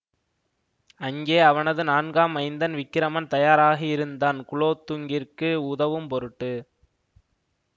அங்கே அவனது நான்காம் மைந்தன் விக்கிரமன் தயாராக இருந்தான் குலோதுங்கநிற்கு உதவும் பொருட்டு